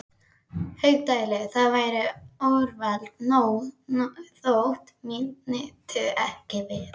Haukdæli, þá væri úrvalið nóg þótt mín nyti ekki við.